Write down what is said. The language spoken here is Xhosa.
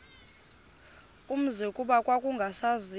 umzi kuba kwakungasaziwa